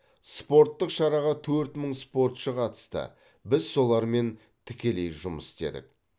спорттық шараға төрт мың спортшы қатысты біз солармен тікелей жұмыс істедік